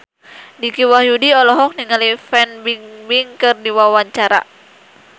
Dicky Wahyudi olohok ningali Fan Bingbing keur diwawancara